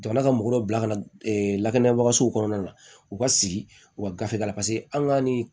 Jamana ka mɔgɔ dɔ bila ka na lakanabagasow kɔnɔna la u ka sigi u ka gafe la an ka ni